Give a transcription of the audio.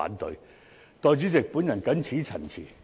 代理主席，我謹此陳辭。